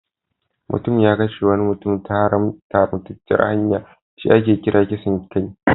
Mutum ya kashe wani mutum ta haramtacciyar hanya shi ake kira kisan kai.